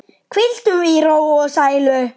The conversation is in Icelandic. Hvíldu í ró og sælu.